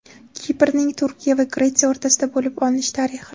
Kiprning Turkiya va Gretsiya o‘rtasida bo‘lib olinish tarixi.